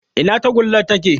Ina tagullar take?